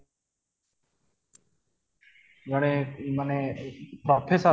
ଜଣେ ମାନେ professor